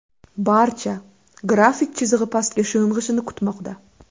Barcha grafik chizig‘i pastga sho‘ng‘ishini kutmoqda.